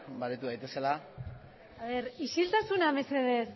baretu daitezela isiltasuna mesedez